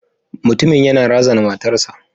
Mutumin yana razana matarsa.